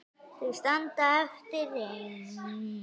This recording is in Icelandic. Þau standa eftir ein.